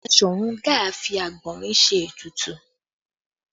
Basọ̀run Gáà fi àgbọ̀nrín ṣe ètùtù